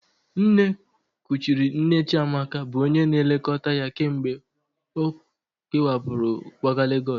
Nne kuchiri nne Chiamaka bụ onye na-elekọta ya kemgbe ọ kewapụrụ kwaga Legọs